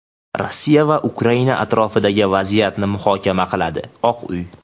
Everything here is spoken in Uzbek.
Rossiya va Ukraina atrofidagi vaziyatni muhokama qiladi – Oq uy.